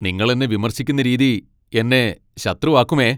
നിങ്ങൾ എന്നെ വിമർശിക്കുന്ന രീതി എന്നെ ശത്രുവാക്കുമേ.